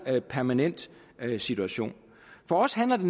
permanent situation for os handler det